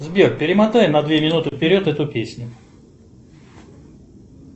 сбер перемотай на две минуты вперед эту песню